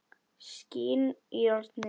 Skín í járnið.